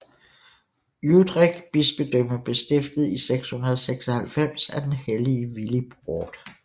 Utrecht bispedømme blev stiftet i 696 af den hellige Willibrord